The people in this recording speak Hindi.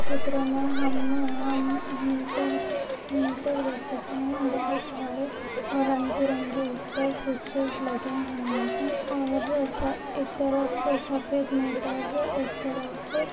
इस चित्र में हम हम मीटर मीटर देख सकते है बहोत सारे रंग बिरंगे उस पर स्विचेस लगे हुए है और एक तरफ सफेद मीटर एक तरफ--